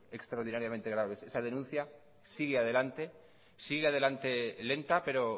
extraordinariamente graves esa denuncia sigue adelante sigue adelante lenta pero